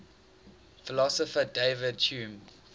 philosopher david hume